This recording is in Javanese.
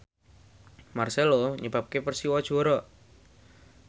marcelo nyebabke Persiwa juara